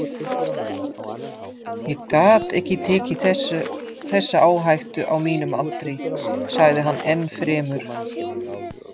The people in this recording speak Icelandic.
Ég gat ekki tekið þessa áhættu á mínum aldri, sagði hann enn fremur.